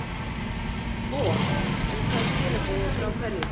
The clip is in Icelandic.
boð, en hvaða skilaboð og frá hverjum?